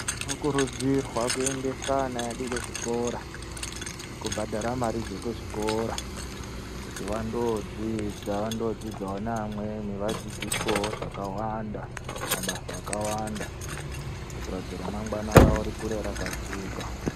Tinokurudzirwe kuendesa ana edu kuzvikora ,nekubhadhara mari dzekuzvikora kuti vanodzidza venodzidza ne amweni vadzidziswewo zvakawanda, mabasa akawanda kuitira kuti ramangwana ravo rikure rakajeka.